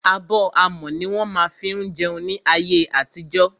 Abọ́ amọ̀ ní wọ́n má ń fí jẹun ní ayé àtijọ́.